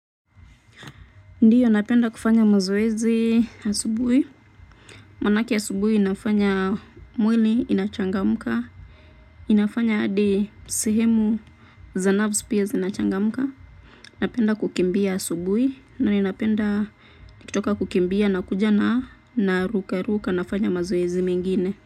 Ndiyo napenda kufanya mazoezi asubuhi, manake asubuhi inafanya mwili inachangamka, inafanya hadi sehemu za nafsi pia zinachangamka, napenda kukimbia asubuhi na ninapenda nikitoka kukimbia nakuja na narukaruka nafanya mazoezi mengine.